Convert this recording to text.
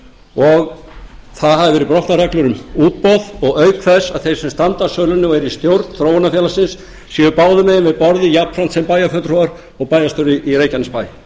og það hafa verið brotnar reglur um útboð og auk þess að þeir sem standa að sölunni og eru í stjórn þróunarfélagsins séu báðum megin við borðið jafnframt sem bæjarfulltrúar og bæjarstjóri í reykjanesbæ